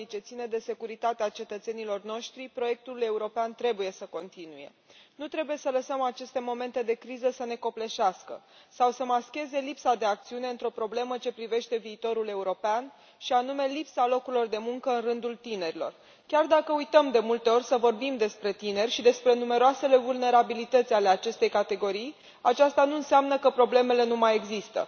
Domnule președinte, stimați colegi, în ciuda gravității situației ce ține de securitatea cetățenilor noștri, proiectul european trebuie să continue. Nu trebuie să lăsăm aceste momente de criză să ne copleșească sau să mascheze lipsa de acțiune într o problemă ce privește viitorul european și anume lipsa locurilor de muncă în rândul tinerilor. Chiar dacă uităm de multe ori să vorbim despre tineri și despre numeroasele vulnerabilități ale acestei categorii, aceasta nu înseamnă că problemele nu mai există.